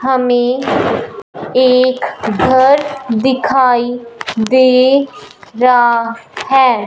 हमें एक घर दिखाई दे रहा है।